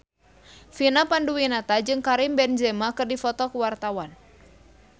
Vina Panduwinata jeung Karim Benzema keur dipoto ku wartawan